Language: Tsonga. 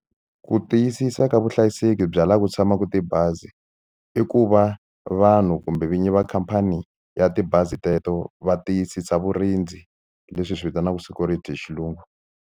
Ku tiyisisa ka vuhlayiseki bya laha ku tshamaka tibazi i ku va vanhu kumbe vinyi va khampani ya tibazi teto va tiyisisa vurindzi leswi hi swi vitanaka security hi xilungu.